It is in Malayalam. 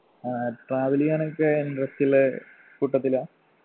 ആ travel ചെയ്യാനൊക്കെ interest ഇല്ല കൂട്ടത്തിലാ